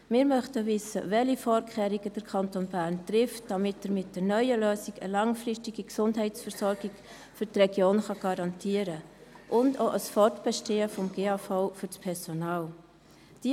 Welche Vorkehrungen trifft der Kanton Bern, damit mit der neuen Lösung eine langfristige Gesundheitsversorgung für die Region und ein Fortbestehen des GAV für das Personal garantiert werden kann?